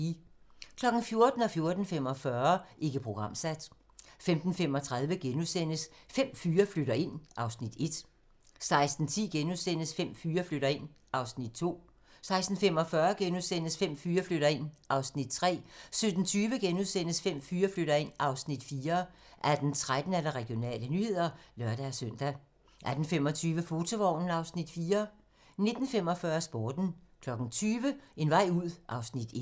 14:00: Ikke programsat 14:45: Ikke programsat 15:35: Fem fyre flytter ind (Afs. 1)* 16:10: Fem fyre flytter ind (Afs. 2)* 16:45: Fem fyre flytter ind (Afs. 3)* 17:20: Fem fyre flytter ind (Afs. 4)* 18:13: Regionale nyheder (lør-søn) 18:25: Fotovognen (Afs. 4) 19:45: Sporten 20:00: En vej ud (Afs. 1)